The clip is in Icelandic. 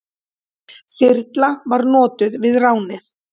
Þyrla var notuð við ránið.